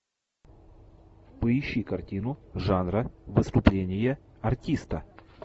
поищи картину жанра выступление артиста